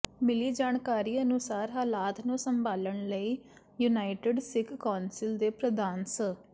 ਮਿਲੀ ਜਾਣਕਾਰੀ ਅਨੁਸਾਰ ਹਾਲਾਤ ਨੂੰ ਸੰਭਾਲਣ ਲਈ ਯੂਨਾਇਟਿਡ ਸਿੱਖ ਕੌਂਸਲ ਦੇ ਪ੍ਰਧਾਨ ਸ